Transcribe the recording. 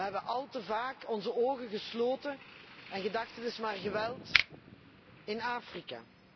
We hebben al te vaak onze ogen gesloten en gedacht het is maar geweld in Afrika.